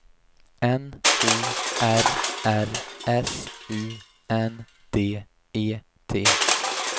N O R R S U N D E T